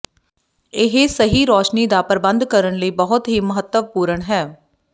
ਇਹ ਸਹੀ ਰੋਸ਼ਨੀ ਦਾ ਪ੍ਰਬੰਧ ਕਰਨ ਲਈ ਬਹੁਤ ਹੀ ਮਹੱਤਵਪੂਰਨ ਹੈ